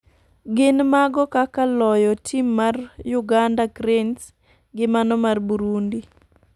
gin mago kaka loyo tim mar uganda cranes gi mano mar Burundi.